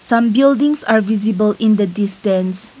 some buildings are visible in the distance.